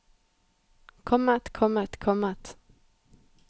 kommet kommet kommet